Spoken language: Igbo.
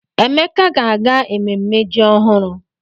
Emeka ga-aga ememme ji ọhụrụ.